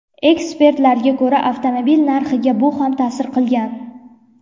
Ekspertlarga ko‘ra, avtomobil narxiga bu ham ta’sir qilgan.